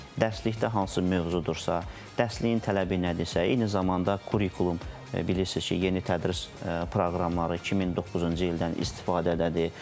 Dərslikdə hansı mövzudursa, dərsliyin tələbi nədirsə, eyni zamanda kurikulum bilirsiz ki, yeni tədris proqramları 2009-cu ildən istifadədədir.